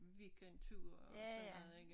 Weekendture og sådan noget ikke